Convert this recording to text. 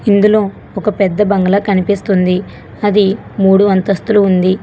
ఇందులో ఒక పెద్ద బంగళా కనిపిస్తుంది అది మూడు అంతస్థులు ఉంది.